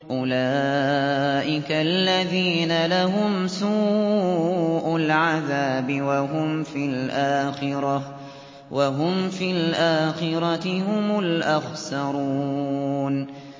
أُولَٰئِكَ الَّذِينَ لَهُمْ سُوءُ الْعَذَابِ وَهُمْ فِي الْآخِرَةِ هُمُ الْأَخْسَرُونَ